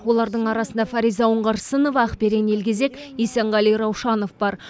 олардың арасында фариза оңғарсынова ақберен елгезек есенғали раушанов бар